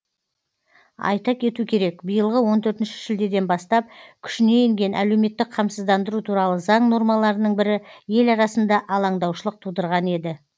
айта кету керек биылғы он төртінші шілдеден бастап күшіне енген әлеуметтік қамсыздандыру туралы заң нормаларының бірі ел арасында алаңдаушылық тудырған еді